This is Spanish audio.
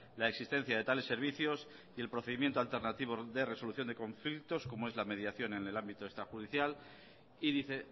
la existencia de tales servicios y el procedimiento alternativo de resolución de conflictos como es la mediación en el ámbito extrajudicial y dice